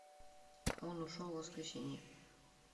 он ушел в воскресенье